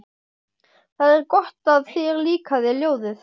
Það er gott að þér líkaði ljóðið.